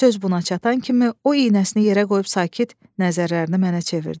Söz buna çatan kimi o, iynəsini yerə qoyub sakit nəzərlərini mənə çevirdi.